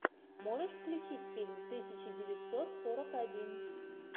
можешь включить фильм тысяча девятьсот сорок один